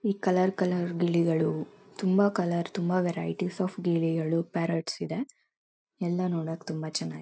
ಈ colour colour ಗಿಳಿಗಳು ತುಂಬ ಕಲರ್ ತುಂಬ ವರೈಟಿಸ್ ಒಫ್ ಗಿಳಿಗಳು ಪಾರಾಟ್ಸ್ ಇದೆ ಎಲ್ಲ ನೋಡಕ್ಕೆ ತುಂಬ ಚೆನಾಗ್ --